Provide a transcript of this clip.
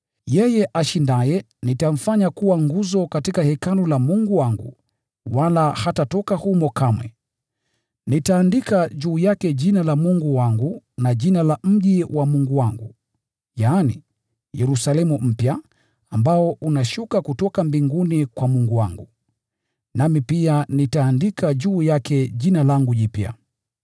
Yeye ashindaye nitamfanya kuwa nguzo katika hekalu la Mungu wangu, wala hatatoka humo kamwe. Nitaandika juu yake Jina la Mungu wangu na jina la mji mkubwa wa Mungu wangu, Yerusalemu mpya, ambao unashuka kutoka mbinguni kwa Mungu wangu. Nami pia nitaandika juu yake Jina langu jipya.